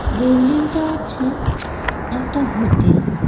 বিল্ডিংটা হচ্ছে একটা হোটেল ।